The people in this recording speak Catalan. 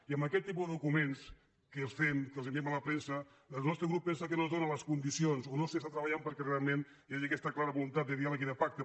i amb aquest tipus de documents que els fem que els enviem a la premsa el nostre grup pensa que no es donen les condicions o no s’està treballant perquè realment hi hagi aquesta clara voluntat de diàleg i de pacte